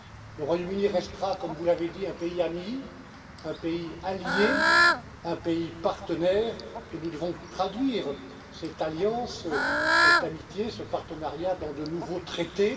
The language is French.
Le Royaume Uni restera, comme vous l'avez dit, un pays ami, un pays allié, un pays partenaire et nous devons traduire cette alliance, cette amitié, ce partenariat dans de nouveaux traités.